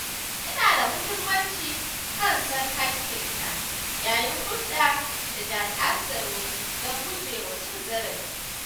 Yana da muhimmanci ka san haƙƙinka yayin hulɗa da jami’an tsaro don gujewa cin zarafi.